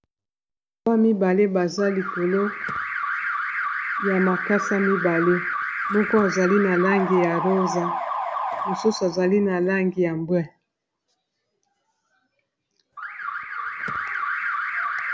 Mibale baza likolo ya makasa mibale, moko azali na langi ya rosa mosusu azali na langi ya mbwe.